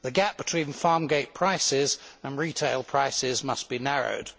The gap between farm gate prices and retail prices must be narrowed.